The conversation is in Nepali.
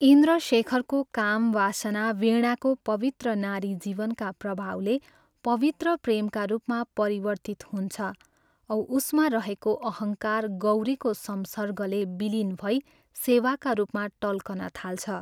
इन्द्रशेखरको काम वासना वीणाको पवित्र नारी जीवनका प्रभावले पवित्र प्रेमका रूपमा परिवर्तित हुन्छ औ उसमा रहेको अहङ्कार गौरीको संसर्गले विलीन भई सेवाका रूपमा टल्कन थाल्छ।